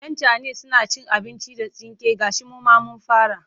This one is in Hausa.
Yan cana suna cin abinci da tsinke gashi mu ma mun fara.